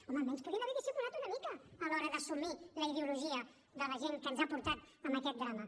home almenys podien haver dissimulat una mica a l’hora d’assumir la ideologia de la gent que ens ha portat a aquest drama